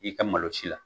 I ka malo si la